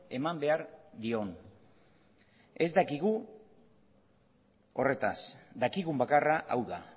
eman behar dion ez dakigu horretaz dakigun bakarra hau da